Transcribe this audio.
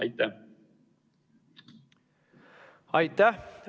Aitäh!